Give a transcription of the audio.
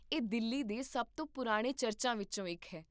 ਇਹ ਦਿੱਲੀ ਦੇ ਸਭ ਤੋਂ ਪੁਰਾਣੇ ਚਰਚਾਂ ਵਿੱਚੋਂ ਇੱਕ ਹੈ